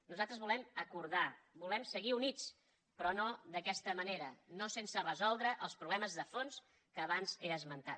nosaltres volem acordar volem seguir units però no d’aquesta manera no sense resoldre els problemes de fons que abans he esmentat